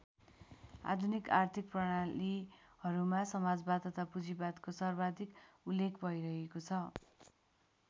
आधुनिक अर्थिक प्रणालीहरूमा समाजवाद तथा पूँजीवादको सर्वाधिक उल्लेख भइरहेको छ।